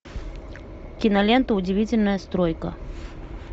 кинолента удивительная стройка